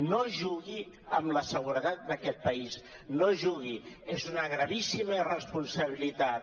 no jugui amb la seguretat d’aquest país no hi jugui és una gravíssima irresponsabilitat